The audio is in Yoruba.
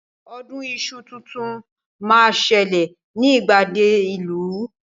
Ọdún iṣu tuntun máa ń ṣẹlẹ̀ ní ìgbàgede ìlú